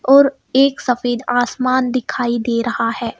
और एक सफेद आसमान दिखाई दे रहा है.